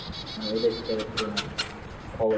মানে ওদের হিসেবে তুলনায় খবর ।